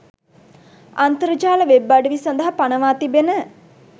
අන්තර්ජාල web අඩවි සඳහා පනවා තිබෙන